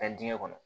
Taa diŋɛ kɔnɔ